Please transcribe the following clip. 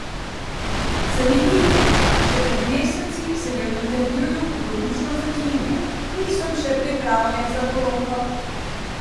Zanimivo, še pred meseci se je v intervjuju hudomušno zaklinjal: "Nisem še pripravljen za poroko.